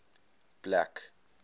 black